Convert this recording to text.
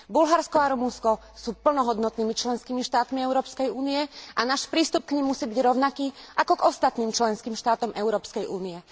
Bulharsko a Rumunsko sú plnohodnotnými členskými štátmi Európskej únie a náš prístup k nim musí byť rovnaký ako k ostatným členským štátom Európskej únie.